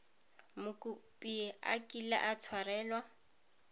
mokopi a kile a tshwarelwa